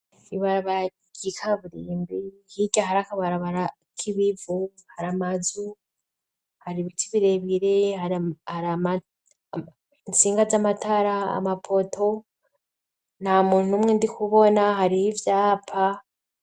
Ibarabara ry'ikaburimbi hirya hari akabarabara k'ibivu hari amazu hari ibiti birebire itsinga z'amatara amapoto nta muntu umwe ndi kubona hari ivyapa.